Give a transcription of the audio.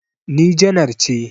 Ni janar ce